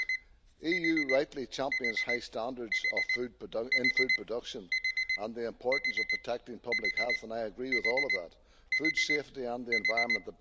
The EU rightly champions high standards in food production and the importance of protecting public health, and I agree with all of that, food safety and the environment.